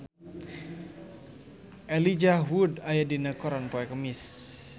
Elijah Wood aya dina koran poe Kemis